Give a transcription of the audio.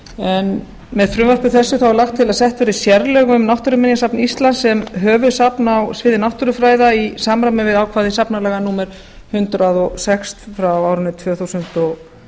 en með frumvarpi þessu er lagt til að sett verði sérlög um náttúruminjasafn íslands sem höfuðsafn á sviði náttúrufræða í samræmi við ákvæði safnalaga númer hundrað og sex frá árinu tvö þúsund og